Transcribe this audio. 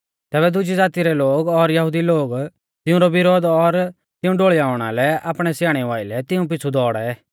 तैबै दुजी ज़ाती रै लोग और यहुदी लोग तिऊंरौ विरोध और तिऊं ढोल़ियाउणा लै आपणै स्याणेऊ आइलै तिऊं पिछ़ु दौड़ै